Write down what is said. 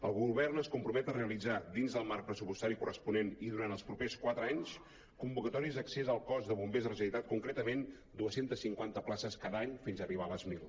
el govern es compromet a realitzar dins del marc pressupostari corresponent i durant els propers quatre anys convocatòries d’accés al cos de bombers de la ge·neralitat concretament dos cents i cinquanta places cada any fins arribar a les mil